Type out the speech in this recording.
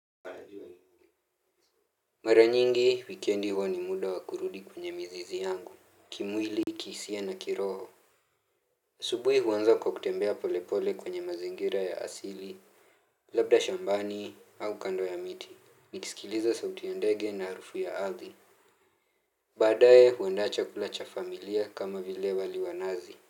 Mara nyingi, wikiendi huwa ni muda wakurudi kwenye mizizi yangu, kimwili kihisia na kiroho asubuhi huanza kwa kutembea polepole kwenye mazingira ya asili. Labda shambani au kando ya miti, nikisikiliza sauti ya ndege na harufu ya ardhi. Baadae huandaa chakula cha familia kama vile wali wa nazi.